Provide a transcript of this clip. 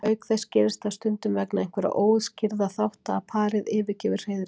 Auk þess gerist það stundum vegna einhverra óútskýrðra þátta að parið yfirgefur hreiðrið.